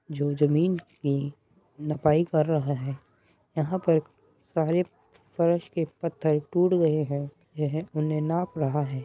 जो जमीन के नपाई कर रहा है। यहाँ पर सारे फर्श के पत्थर टूट गऐ हैं। यह उन्हे नाप रहा है।